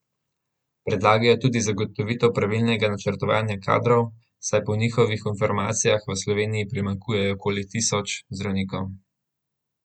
Predlagajo tudi zagotovitev pravilnega načrtovanja kadrov, saj po njihovih informacijah v Sloveniji primanjkuje okoli tisoč zdravnikov.